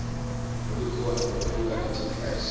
olukhona kwakhula enterprise